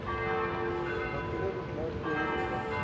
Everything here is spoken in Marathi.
अं भटुरे कुठलं? पुरी देत्यात.